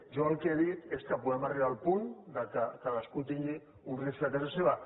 jo el que he dit és que podem arribar al punt que cadascú tingui un rifle a casa seva